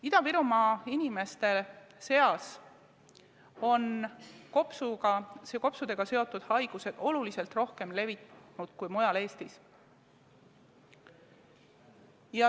Ida-Virumaa inimeste seas on kopsudega seotud haigused oluliselt rohkem levinud kui mujal Eestis.